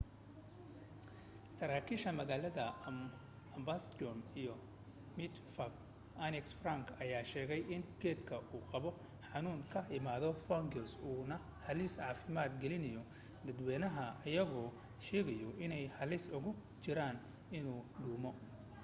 saraakiisha magaalada amsterdam iyo matxafka anne frank ayaa sheegay in geedka uu qabo xanuun ka imaaday fungus uu na halis caafimaad gelinaayo dadwaynaha iyagoo sheegaayo inuu halis ugu jiray inuu dumo